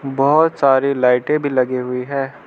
बहोत सारी लाइटे भी लगी हुई है।